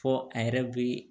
Fɔ a yɛrɛ be